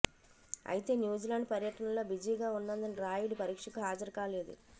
అయితే న్యూజిలాండ్ పర్యటనలో బిజీగా ఉన్నందున రాయుడు పరీక్షకు హాజరు కాలేదు